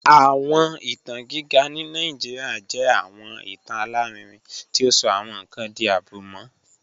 Awọn itan giga ni Nigeria jẹ awọn itan alarinrin ti o sọ awọn nkan di abumọ